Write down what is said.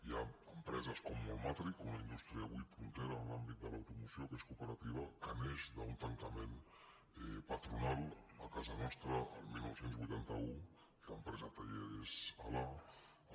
hi ha empreses com mol·matric una indústria avui punte·ra en l’àmbit de l’automoció que és cooperativa que neix d’un tancament patronal a casa nostra el dinou vuitanta u que l’empresa talleres alá